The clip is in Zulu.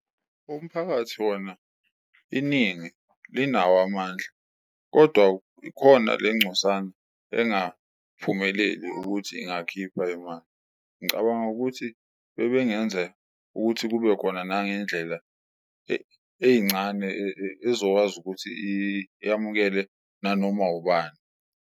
Umphakathi wona iningi linawo amandla kodwa ikhona le ncosana engaphumeleli ukuthi ingakhipha imali, ngicabanga ukuthi bebe ngenza ukuthi kube khona nangendlela eyincane ezokwazi ukuthi yamukele nanoma ubani.